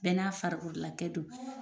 Bɛɛ n'a farakololakɛ don